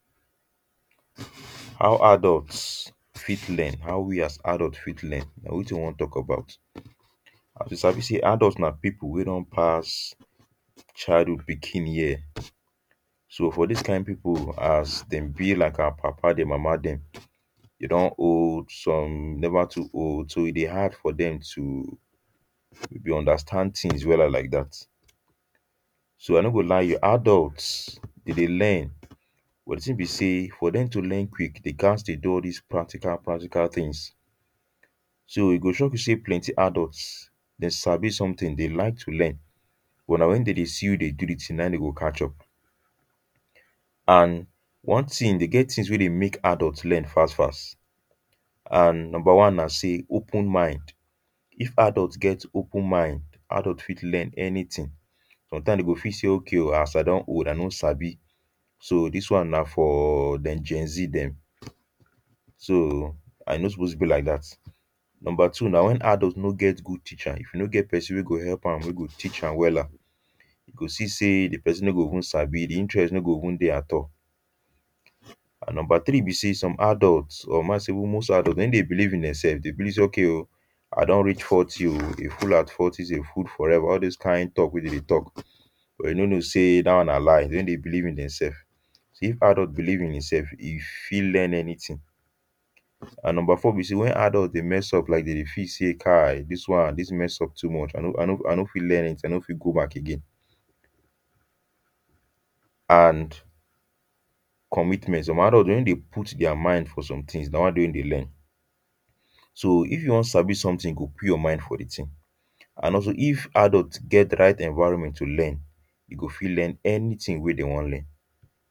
how adults fit learn how we as adults fit learn nah wetin we wan talk about as you sabi say adults nah people weh don pass childhood pikin year so for this kind people as them be like our papa them mama them they don old some never too old so e deh hard for them to deh understand things wella like that so i no go lie you adults e deh learn but the thing be say for them to learn quick they gat to do all this practical practical things so e go shock you say plenty adults them sabi something they like to learn but nah when them deh see who deh do the thing nah in them go catch up and one thing e deh get thing weh deh make adults learn fast fast and number one nah say open mind if adults get open mind adult fit learn anything sometime them go fit say okay o as i don old i no sabi so this one nah for them gen z them so i no suppose be like that number two nah when adult no get good teacher if e no get person weh go help am weh go teach am wella you go see say the person no go even sabi the interest no go even deh at all and number three be say some adults or ma say almost adults them no deh believe in themselves them believe say okay o i don reach forty o a fool at forty is a fool forever all those kind talk weh them deh talk but them no know say that one nah lie them no deh believe in themselves so if adults believe in themselves them fit learn anything, and number four be say when adult deh mess up like them deh feel say kai this one this messup too much i no i no i no fit learn it i no fit go back again and commitment some adults them no deh put their mind for something nah why them no deh learn so if you wan sabi something you go put your mind for the thing and also if adult get right environment to learn e go fit learn anything weh them want learn